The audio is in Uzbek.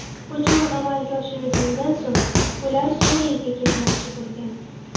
Hujum amalga oshirilgandan so‘ng, ular Suriyaga ketmoqchi bo‘lgan.